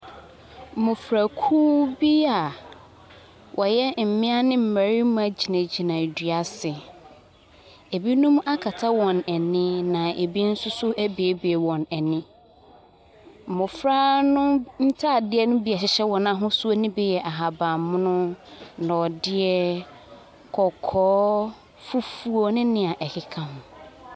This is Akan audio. Mmmɔfrakuo bi a wɔyɛ mmaa ne mmarima gyinagyina ɛdua ase. Ebinom akata wɔn ani na ebinom nso abuebue wɔn ani. Mmɔfra no ntaadeɛ no bi a ɛhyehyɛ wɔn ahosuo no bi yɛ ahabammono, nɔdeɛ, kɔkɔɔ, fifuo ne deɛ ɛkeka ho.